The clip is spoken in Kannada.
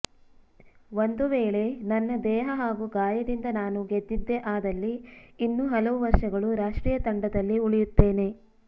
ಒಂದು ವೇಳೆ ನನ್ನ ದೇಹ ಹಾಗೂ ಗಾಯದಿಂದ ನಾನು ಗೆದ್ದಿದ್ದೆ ಆದಲ್ಲಿ ಇನ್ನೂ ಹಲವು ವರ್ಷಗಳು ರಾಷ್ಟ್ರೀಯ ತಂಡದಲ್ಲಿ ಉಳಿಯುತ್ತೇನೆ